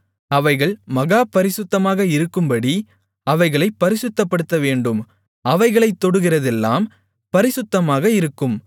அவைகள் மகா பரிசுத்தமாக இருக்கும்படி அவைகளைப் பரிசுத்தப்படுத்தவேண்டும் அவைகளைத் தொடுகிறதெல்லாம் பரிசுத்தமாக இருக்கும்